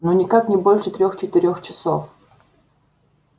ну никак не больше трех-четырех часов